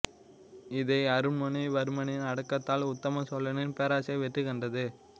இதை அருண்மொழி வர்மனின் அடக்கத்தால் உத்தம சோழனின் பேராசை வெற்றிகண்டது